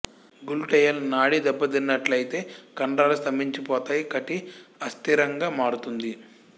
gluteal నాడి దెబ్బతిన్నట్లయితే కండరాలు స్తంభించిపోతాయి కటి అస్థిరంగా మారుతుంది